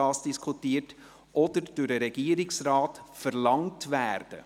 Oder eine Einberufung kann vom Regierungsrat verlangt werden.